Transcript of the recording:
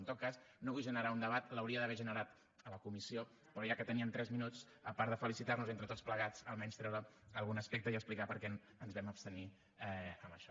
en tot cas no vull generar un debat l’hauria d’haver generat a la comissió però ja que teníem tres minuts a part de felicitar nos entre tots plegats almenys treure algun aspecte i explicar per què ens vam abstenir en això